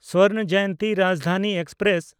Swarna Jayanti Rajdhani express